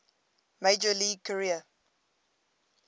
major league career